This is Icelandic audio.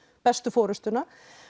bestu forystuna